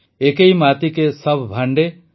ଏକୈ ମାତି କେ ସଭ୍ ଭାଂଡେ